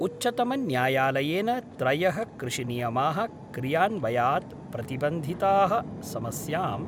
उच्चतमन्यायालयेन त्रयः कृषिनियमाः क्रियान्वयात् प्रतिबन्धिताः समस्यां